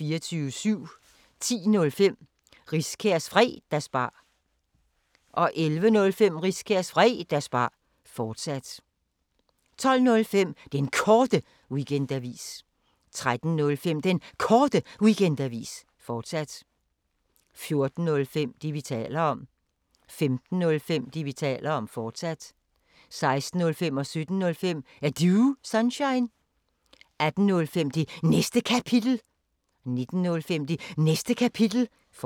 10:05: Riskærs Fredagsbar 11:05: Riskærs Fredagsbar, fortsat 12:05: Den Korte Weekendavis 13:05: Den Korte Weekendavis, fortsat 14:05: Det, vi taler om 15:05: Det, vi taler om, fortsat 16:05: Er Du Sunshine? 17:05: Er Du Sunshine? 18:05: Det Næste Kapitel 19:05: Det Næste Kapitel, fortsat